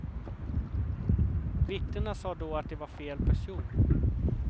Vittnena sa då att det var fel person.